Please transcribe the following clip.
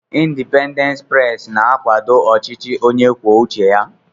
Indipendent pres na-akwàdó ọchịchị onye kwuo uche ya.